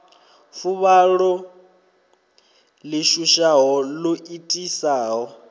fuvhalo ḽi shushaho ḽo itisaho